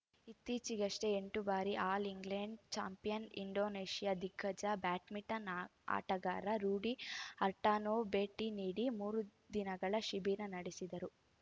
ಇತ್ತೀಚೆಗಷ್ಟೇ ಎಂಟು ಬಾರಿ ಆಲ್‌ ಇಂಗ್ಲೆಂಡ್‌ ಚಾಂಪಿಯನ್‌ ಇಂಡೋನೇಷ್ಯಾದ ದಿಗ್ಗಜ ಬ್ಯಾಡ್ಮಿಂಟನ್‌ ಆ ಆಟಗಾರ ರೂಡಿ ಹರ್ಟಾನೋ ಭೇಟಿ ನೀಡಿ ಮೂರು ದಿನಗಳ ಶಿಬಿರ ನಡೆಸಿದರು